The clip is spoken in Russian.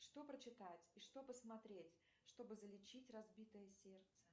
что прочитать и что посмотреть чтобы залечить разбитое сердце